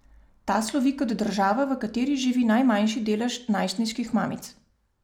Ta slovi kot država, v kateri živi najmanjši delež najstniških mamic.